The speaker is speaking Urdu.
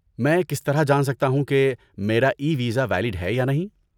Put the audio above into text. میں کس طرح جان سکتا ہوں کہ میرا ای ویزا ویلڈ ہے یا نہیں؟